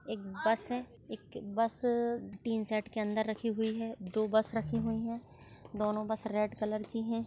एक bus bus tin shed के अंदर रखी हुई है दो बस रखी हुई है दोनों बस रेड कलर की है।